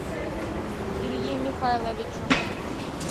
илье михайловичу